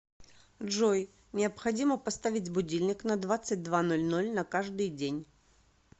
джой необходимо поставить будильник на двадцать два ноль ноль на каждый день